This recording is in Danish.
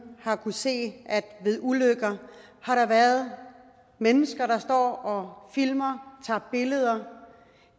har kunnet se at der ved ulykker har været mennesker der står og filmer tager billeder